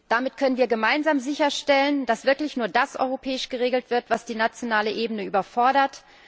Damit können wir gemeinsam sicherstellen, dass wirklich nur das europäisch geregelt wird, was die nationale Ebene überfordert.